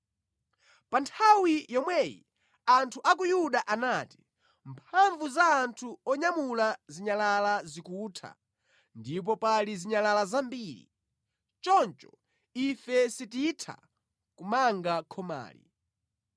Pa nthawi yomweyi anthu a ku Yuda anati, “Mphamvu za anthu onyamula zinyalala zikutha ndipo pali zinyalala zambiri. Choncho ife sititha kumanga khomali.”